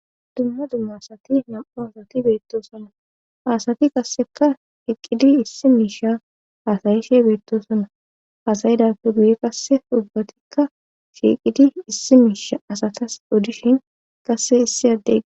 dumma dumma asati nam7u asati beettoosonna asati qasseka hiqqidi issi miisha aasayishe beettosona asayidape guye qasse ubbatikka shiiqidi issi miisha asatas odishin qasse issi addega